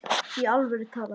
Í alvöru talað.